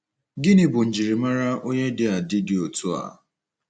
Gịnị bụ njirimara onye dị adi dị otu a?